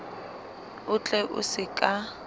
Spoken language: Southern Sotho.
o tle o se ka